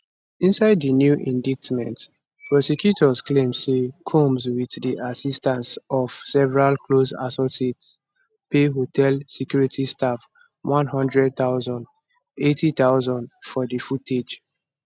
inside di new indictment prosecutors claim say combs wit di assistance of several close associates pay hotel security staff 100000 80000 for di footage